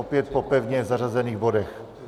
Opět po pevně zařazených bodech.